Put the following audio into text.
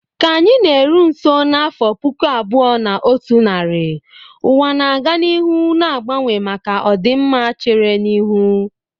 Ka anyị na-eru nso n'afọ puku abuo na otu nari, ụwa na-aga n'ihu na-agbanwe maka ọdịmma chere n'ihu.